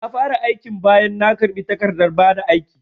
Na fara aikin bayan na karbi takardan bada aiki